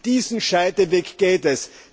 Um diesen Scheideweg geht es.